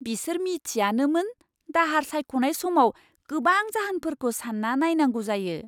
बिसोर मिथियानोमोन दाहार सायख'नाय समाव गोबां जाहोनफोरखौ सान्ना नायनांगौ जायो!